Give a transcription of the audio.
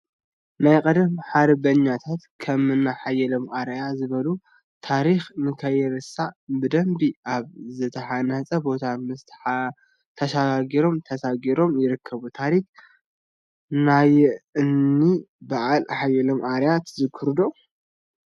ናይ ቀደም ሓርበኛታት ከምኒ ሓየሎም አርአያ ዝበሉ ታሪኮም ንከይርሳዕ ብደንቢ አብ ዝተሃነፀ ቦታ ምስ ሓሻኽሮም ተሳኢሎም ይርከቡ፡፡ ታሪክ ናይእኒ በዓል ሓየሎም አርአያ ትዝክሩ ዶ?